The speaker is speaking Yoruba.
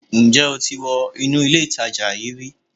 Ǹ jẹ́ o ti wọ inú ilé ìtajà yíì ri